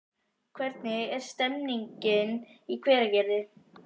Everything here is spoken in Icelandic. Hvernig er stemningin í Hveragerði?